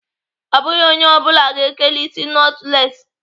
Ọ bụghị onye ọ bụla ga-ekeli isi nọtụles.